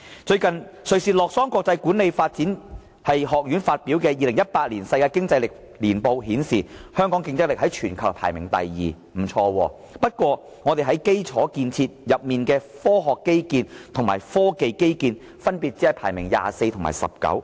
最近瑞士洛桑國際管理發展學院發表的《2018年世界競爭力年報》顯示，香港競爭力在全球排名第二位，成績頗好，不過香港在基礎建設下的科學基建和科技基建分別只排名第二十四位及第十九位。